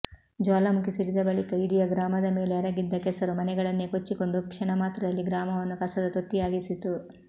ಜ್ವಾಲಾಮುಖಿ ಸಿಡಿದ ಬಳಿಕ ಇಡಿಯ ಗ್ರಾಮದ ಮೇಲೆ ಎರಗಿದ ಕೆಸರು ಮನೆಗಳನ್ನೇ ಕೊಚ್ಚಿಕೊಂಡು ಕ್ಷಣಮಾತ್ರದಲ್ಲಿ ಗ್ರಾಮವನ್ನು ಕಸದ ತೊಟ್ಟಿಯಾಗಿಸಿತು